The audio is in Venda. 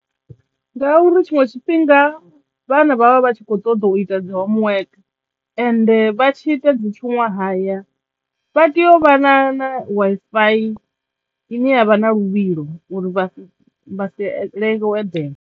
Ngauri tshiṅwe tshifhinga vhana vha vha vha tshi kho ṱoḓa u ita dzi homework ende vha tshi ita dzi tshuṅwahaya vha teyo u vha na na Wi-Fi ine yavha na luvhilo uri vha si vha si lenga u eḓela.